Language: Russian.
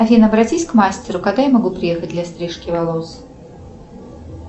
афина обратись к мастеру когда я могу приехать для стрижки волос